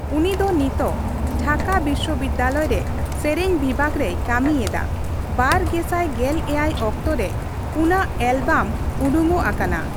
ᱩᱱᱤ ᱫᱚ ᱱᱤᱛᱚᱜ ᱰᱷᱟᱠᱟ ᱵᱤᱥᱥᱚᱵᱤᱫᱽᱫᱟᱞᱚᱭ ᱨᱮ ᱥᱮᱨᱮᱧ ᱵᱤᱵᱷᱟᱜᱽ ᱨᱮᱭ ᱠᱟ.ᱢᱤ ᱮᱫᱟ ᱾ ᱵᱟᱨ ᱜᱮᱥᱟᱭ ᱜᱮᱞ ᱮᱭᱟᱭ ᱚᱠᱛᱚ ᱨᱮ ᱯᱩᱱᱟᱜ ᱮᱞᱵᱟᱢ ᱩᱰᱩᱠᱚᱜ ᱟᱠᱟᱱᱟ ᱾